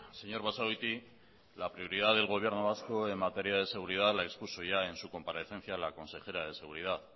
señor basagoiti la prioridad del gobierno vasco en materia de seguridad la expuso ya en su comparecencia la consejera de seguridad